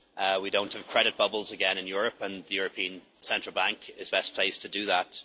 we do not have credit bubbles again in Europe, and the European Central Bank is best placed to do that.